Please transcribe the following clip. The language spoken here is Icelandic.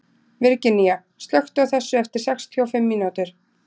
Virginía, slökktu á þessu eftir sextíu og fimm mínútur.